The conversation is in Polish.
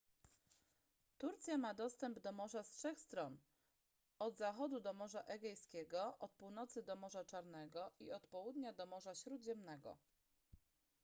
turcja ma dostęp do morza z trzech stron od zachodu do morza egejskiego od północy do morza czarnego i od południa do morza śródziemnego